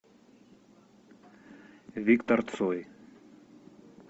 виктор цой